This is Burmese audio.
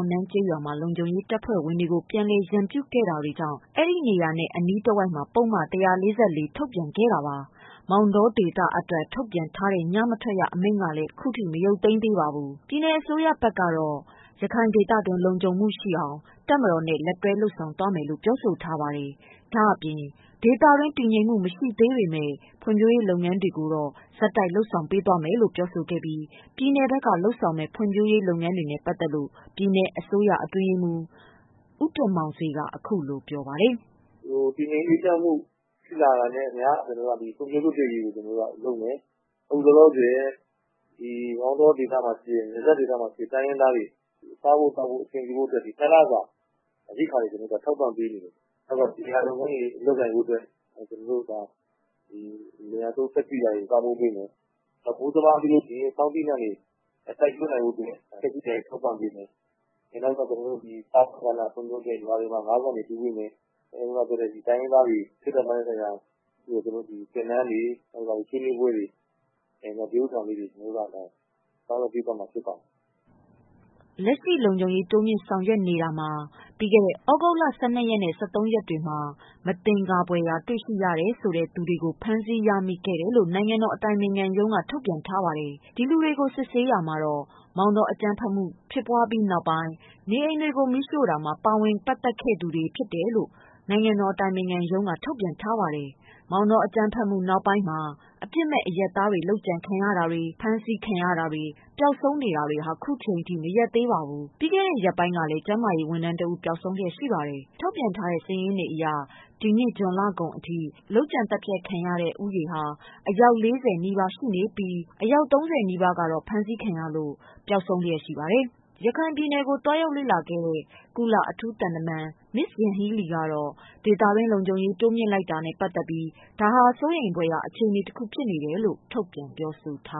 ဂလီလူမျိုးတွေနေထိုင်တဲ့ အောက်နန်းကျေးရွာမှာ လုံခြုံရေးတပ်ဖွဲ့ဝင်တွေကို ပြန်လည်ရန်ပြုခဲ့တာ တွေရှိခဲ့တာကြောင့် အဲဒီနေရာနဲ့ အနီး တဝိုက်မှာ ပုဒ်မ ၁၄၄ ထုတ်ပြန်ထားတာပါ။ မောင်တောဒေသမှာအတွက် ထုတ် ပြန်ထားတဲ့ ညမထွက်ရအမိန့်ကလည်းခုထိမရုတ်သိမ်းသေးပါဘူး။ ပြည်နယ်အစိုးရဘက်ကတော့ တပ်မတော်နဲ့ရခိုင်ဒေသတွင်း လုံခြုံမှုရှိအောင်လုပ်ဆောင်နေတဲ့ လက်တွဲဆောင်ရွက်မယ်လို့ပြောပါတယ်။ ဒါ့အပြင် ဒေသတွင်းတည်ငြိမ်မှုမရှိသေးပေမယ့် ဖွံ့ဖြိုးရေးလုပ်ငန်းတွေကိုတော့ ဆက် တိုက်လုပ်ဆောင်သွားမယ်လို့ ပြောဆိုခဲ့ပြီး ပြည်နယ်ဘက်က လုပ်ဆောင်မယ့် ဖွံ့ဖြိုးရေးလုပ်ငန်းတွေနဲ့ပတ်သတ်လို့ ပြည်နယ်အစိုးရ အတွင်းရေးမှုး ဦးတင်မောင်ဆွေက အခုလိုပြောပြပါတယ်။ “တည်ငြိမ်အေးချမ်းမှုဖြစ်လာတာနှင့်အမျှ ကျနော်တို့က ဖွံ့ဖြိုးရေးအတွက်ကို လုပ်မယ်။ အခုလောလောဆည် မောင်တောနယ်စပ်ဒေသမှာရှိတဲ့ တိုင်းရင်းသားတွေ စားဖို့သောက်ဖို့အဆင်ပြေဖို့အတွက် ၂ လစာ ရိက္ခာတွေ ကျနော်တို့ ထောက်ပံ့ပေးနေတယ်။ လယ်ယာလုပ်ငန်းတွေလုပ်နိုင်ဖို့အတွက် ကျနော်တို့ လယ်ယာသုံးစက်ကရိယာတွေပံ့ပိုးပေးမယ်။ မိုးစပါးပြီးရင်ဆောင်းသီးနှံတွေ စိုက်ပျိုးနိုင်ဖို့အတွက် သီးနှံတွေထောက်ပံ့ပေးမယ်။ နောက်ပြီးရွာတွေမှာ ငါးကန်တွေတူးပေးမယ်။ တိုင်းရင်းသားတွေ စိတ်ဓါတ်ပိုင်းဆိုင်ရာအတွက် သင်တန်းတွေ ၊ ဆွေးနွေးပွဲတွေ ဒီဟာလေးကို ကျနော်တို့ ပြုလုပ်ပေးသွားမှာ ဖြစ်ပါတယ်။” လက်ရှိ လုံခြုံရေးတိုးမြင့်ဆောင်ရွက်နေတာမှာ ပြီးခဲ့တဲ့ သြဂုတ်လ ၁၂နဲ့ ၁၃ရက်တွေမှာ မသင်္ကာ ဖွယ်တွေ့ရှိရတဲ့ သူတွေကို ဖမ်းဆီးရမိခဲ့တယ်လို့ နိုင်ငံတော်အတိုင်ပင်ခံရုံးက ထုတ်ပြန်ထားပါတယ်။ ဒီလူတွေကိုစစ်ဆေးတာမှာ နေအိမ်တွေကိုမီးရှို့တာမှာပါဝင်ခဲ့သူ တွေပါတယ်လို့လည်း ပြောဆိုထားပါတယ်။ မောင်တောအကြမ်းဖက်မှုနောက်ပိုင်းမှာ အပြစ်မဲ့အရပ်သားတွေလုပ်ကြံခံနေရတာတွေ ၊ပျောက်ဆုံးနေတာတွေဟာခုချိန်ထိမရပ်သေးပါဘူး။ ပြီးခဲ့တဲ့ ရက်ပိုင်းကလည်း ကျန်းမာရေးဝန်ထမ်းတဦးပျောက်ဆုံးလျက်ရှိပါတယ်။ ထုတ်ပြန်ထားတဲ့စာရင်းတွေအရ ၂၀၁၇ ဇွန်လကုန်ထိလုပ်ကြံသတ်ဖြတ်ခံရတာ အယောက် ၄၀နီးပါးသေဆုံးခဲ့ပြီး အယောက် ၃၀နီးပါး ဖမ်းဆီးခံရလို့ ပျောက်ဆုံးလျက်ရှိနေပါတယ်။ ရခိုင်ပြည်နယ်ကို သွားရောက်ခဲ့တဲ့ကုလအ ထူးသံတမန် မစ်ယန်ဟီးလီကတော့ ဒေသတွင်းလုံခြုံ ရေးတိုးလိုက်တာနဲ့ပတ်သတ်ပြီး ဒါဟာ စိုးရိမ်ဖွယ်ရာအခြေအနေတခု ဖြစ်နေ တယ်လို့ ထုတ်ပြန်ပြောဆိုထား